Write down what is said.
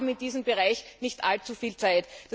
Wir haben in diesem Bereich nicht allzu viel Zeit.